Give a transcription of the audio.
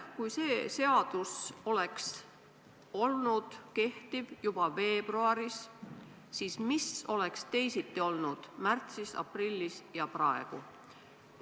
Kui see seadus oleks kehtinud juba veebruaris, siis mis oleks võinud teisiti olla märtsis, aprillis ja praegu?